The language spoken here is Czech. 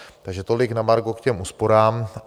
Takže tolik na margo k těm úsporám.